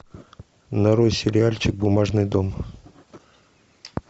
нарой сериальчик бумажный дом